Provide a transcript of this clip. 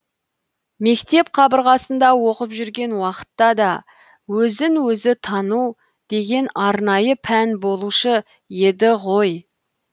мектеп қабырғасында оқып жүрген уақытта да өзін өзі тану деген арнайы пән болушы еді ғой